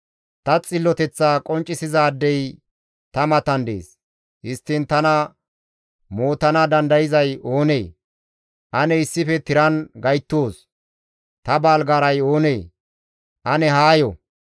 Ta xilloteththa qonccisizaadey ta matan dees; histtiin tana mootana dandayzay izi oonee? Ane issife tiran gayttoos! Ta baalgaaray oonee? Ane haayo!